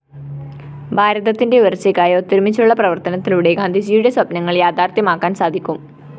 ഭാരതത്തിന്റെ ഉയര്‍ച്ചക്കായി ഒത്തൊരുമിച്ചുള്ള പ്രവര്‍ത്തനത്തിലൂടെ ഗാന്ധിജിയുടെ സ്വപ്‌നങ്ങള്‍ യാഥാര്‍ത്ഥ്യമാക്കാന്‍ സാധിക്കും